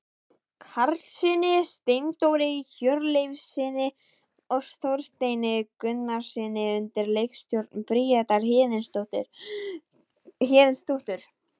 Karlssyni, Steindóri Hjörleifssyni og Þorsteini Gunnarssyni undir leikstjórn Bríetar Héðinsdóttur.